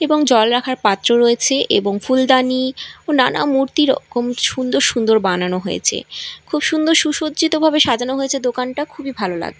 এবং জল রাখার পাত্র রয়েছে এবং ফুলদানি ও নানা মূর্তি রকম সুন্দর সুন্দর বানানো হয়েছে খুব সুন্দর সুসজ্জিতভাবে সাজানো হয়েছে দোকানটা খুবই ভালো লাগ--